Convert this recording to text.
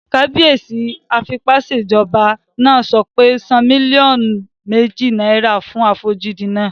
Kábíyèsí afipásèjọba náà sọ pé "san mílíọ̀nù méjì náírà fún àfojúdi náà!"